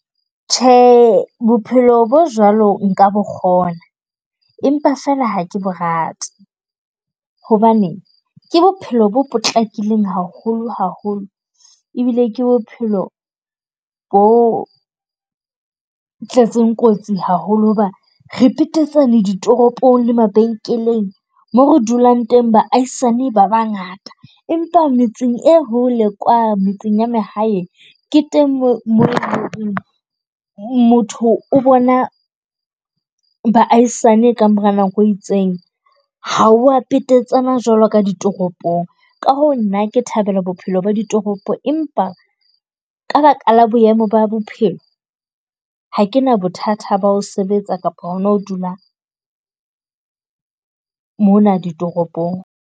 Tjhe, bophelo bo jwalo nka bo kgona. Empa feela ha ke bo rate hobane ke bophelo bo potlakileng haholo haholo. Ebile ke bophelo bo tletseng kotsi haholo hoba re petetsane ditoropong le mabenkeleng moo re dulang teng baahisane ba bangata. Empa metseng e hole kwana metseng ya mahaeng, ke teng moo motho o bona baahisane ka mora nako e itseng. Ha ho a petetsana jwalo ka ditoropong. Ka hoo nna ke thabela bophelo ba ditoropo, empa ka baka la boemo ba bophelo ha ke na bothata ba ho sebetsa kapa ho dula mona ditoropong.